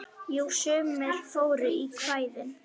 Jú, sumir fóru í kvæðin.